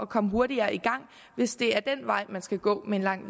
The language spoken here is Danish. komme hurtigere i gang hvis det er den vej man skal gå med en lang